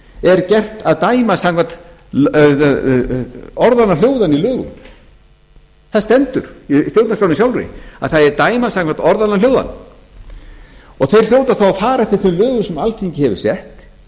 er gert að dæma samkvæmt orðanna hljóðan í lögum það stendur í stjórnarskránni sjálfri að það eigi að dæma samkvæmt orðanna hljóðan þeir hljóta þá að fara eftir þeim lögum sem alþingi hefur sett